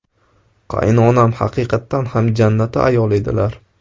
Qaynonam haqiqatdan ham jannati ayol edilar.